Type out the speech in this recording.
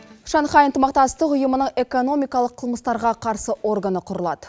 шанхай ынтымақтастық ұйымына экономикалық қылмыстарға қарсы органы құрылады